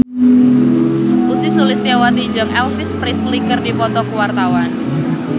Ussy Sulistyawati jeung Elvis Presley keur dipoto ku wartawan